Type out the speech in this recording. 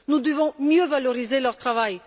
Nous devons mieux valoriser leur travail.